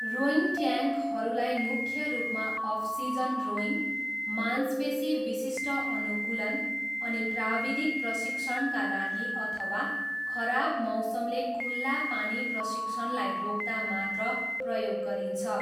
Rowing ट्याङ्कहरूलाई मुख्य रूपमा अफसिजन रोइङ, मांसपेसी विशिष्ट अनुकूलन, अनि प्राविधिक प्रशिक्षणका लागि अथवा खराब मौसमले खुल्ला पानी प्रशिक्षणलाई रोक्दा मात्र प्रयोग गरिन्छ।